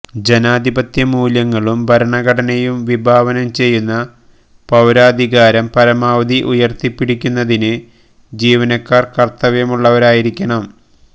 ജനാധിപത്യ മൂല്യങ്ങളും ഭരണഘടനയും വിഭാവനം ചെയ്യുന്ന പൌരാധികാരം പരമാവധി ഉയര്ത്തിപ്പിടിക്കുന്നതിന് ജീവനക്കാര് കര്ത്തവ്യമുള്ളവരായിരിക്കണം